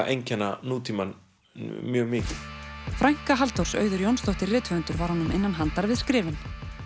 einkenna nútímann mjög mikið frænka Halldórs Auður Jónsdóttir var honum innan handar við skrifin